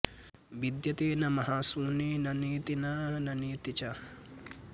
विद्यते न महाशून्ये न नेति न न नेति च